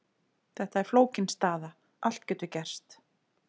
Þetta er flókin staða, allt getur gerst.